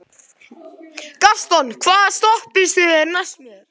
Gaston, hvaða stoppistöð er næst mér?